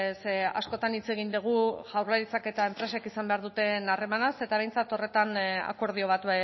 ze askotan hitz egin dugu jaurlaritzak eta enpresek izan behar duten harremanaz eta behintzat horretan akordio bat